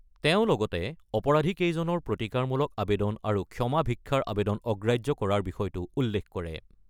তেওঁ লগতে অপৰাধীকেইজনৰ প্ৰতিকাৰমূলক আবেদন আৰু ক্ষমা ভিক্ষাৰ আবেদন অগ্ৰাহ্য কৰাৰ বিষয়টো উল্লেখ কৰে।